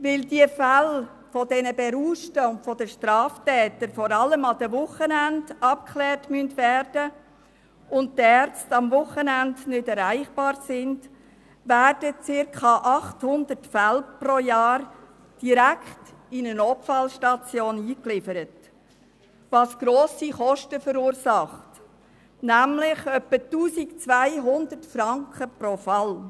Weil die Fälle der Berauschten und der Straftäter vor allem an den Wochenenden abgeklärt werden müssen und die Ärzte am Wochenende nicht erreichbar sind, werden circa 800 Fälle pro Jahr direkt in eine Notfallstation eingeliefert, was grosse Kosten verursacht, nämlich circa 1200 Franken pro Fall.